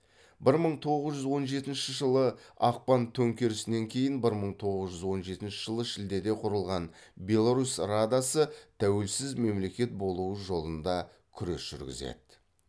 бір мың тоғыз жүз он жетінші жылы ақпан төңкерісінен кейін бір мың тоғыз жүз он жетінші жылы шілдеде құрылған белорус радасы тәуелсіз мемлекет болу жолында күрес жүргізеді